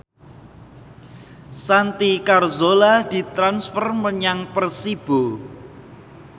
Santi Carzola ditransfer menyang Persibo